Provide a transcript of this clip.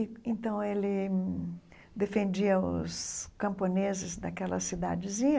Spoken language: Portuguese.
E então, ele defendia os camponeses daquela cidadezinha,